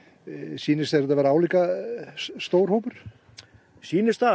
sýnist þér þetta vera álíka stór hópur sýnist það